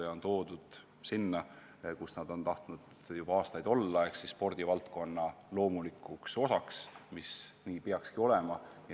Nad on toodud sinna, kus nad on tahtnud juba aastaid olla, nad on saanud spordivaldkonna loomulikuks osaks, mis peabki nii olema.